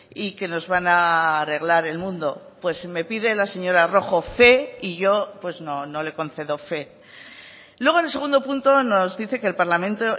y que nos van a arreglar el mundo pues me pide la señora rojo fe y yo no le concedo fe luego en el segundo punto nos dice que el parlamento